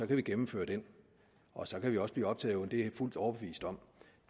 kan vi gennemføre den og så kan vi også blive optaget det er jeg fuldt overbevist om